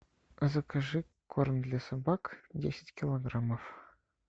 закажи корм для собак десять килограммов